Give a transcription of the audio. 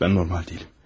Mən normal deyiləm.